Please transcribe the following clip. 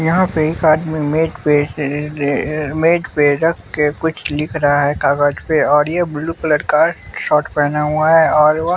यहाँ पे एक आदमी मेज पे अ अ मेज पे रख के कुछ लिख रहा है कागज पे और यह ब्लू कलर का शॉर्ट पहना हुआ है और व--